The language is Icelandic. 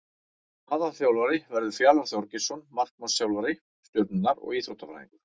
Aðalþjálfari verður Fjalar Þorgeirsson markmannsþjálfari Stjörnunnar og Íþróttafræðingur.